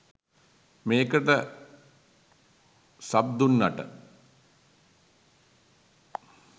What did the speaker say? මේකට සබ් දුන්නට.